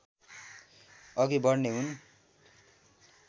अघि बढ्ने हुन्